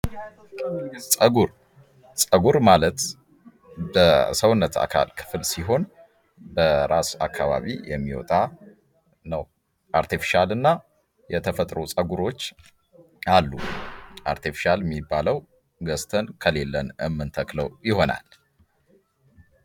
ፀጉር ማለት በሰውነት የአካል ክፍል ሲሆን በራስ አካባቢ የሚወጣ ነው። አርቴፊሻልና የተፈጥሮ ጸጉሮች አሉ። አርቴፊሻል የሚባለው ገጽታን ከሌለን የምንተክለው ይሆናል።